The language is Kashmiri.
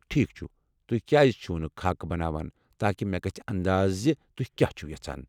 ٹھیٖک چھُ، تُہۍ کیٛازِ چھو نہٕ خاكہٕ بناوان تاکہ مےٚ گژھہِ اندازٕ زِ تُہۍ کیٚا چھِو یژھان۔